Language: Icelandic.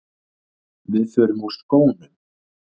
Við förum úr skónum.